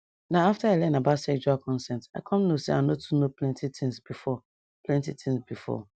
na after i learn about sexual consent i come know say i no too know plenty things before plenty things before